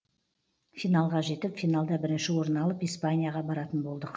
финалға жетіп финалда бірінші орын алып испанияға баратын болдық